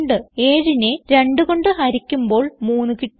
7നെ 2 കൊണ്ട് ഹരിക്കുമ്പോൾ 3 കിട്ടുന്നു